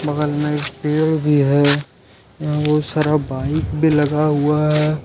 बगल में पेड़ भी है यहां पर बहुत सारा बाइक खड़ी है।